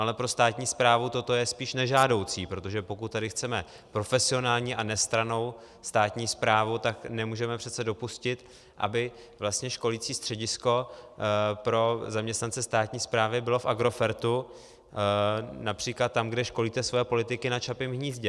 Ale pro státní správu toto je spíš nežádoucí, protože pokud tady chceme profesionální a nestrannou státní správu, tak nemůžeme přece dopustit, aby vlastně školicí středisko pro zaměstnance státní správy bylo v Agrofertu, například tam, kde školíte svoje politiky, na Čapím hnízdě.